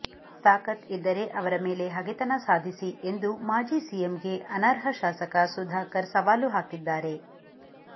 ತಾಕತ್ ಇದ್ದರೆ ಅವರ ಮೇಲೆ ಹಗೆತನ ಸಾಧಿಸಿ ಎಂದು ಮಾಜಿ ಸಿಎಂಗೆ ಅನರ್ಹ ಶಾಸಕ ಸುಧಾಕರ್ ಸವಾಲು ಹಾಕಿದ್ದಾರೆ